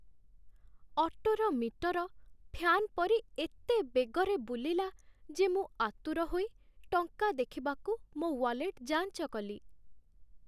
ଅଟୋର metre fan ପରି ଏତେ ବେଗରେ ବୁଲିଲା ଯେ ମୁଁ ଆତୁର ହୋଇ ଟଙ୍କା ଦେଖିବାକୁ ମୋ ୱାଲେଟ୍ ଯାଞ୍ଚ କଲି।